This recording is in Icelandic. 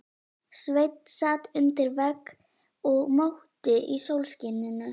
Sveinn sat undir vegg og mókti í sólskininu.